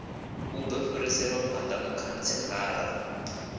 u do fhiriselwa phanda mukhantselara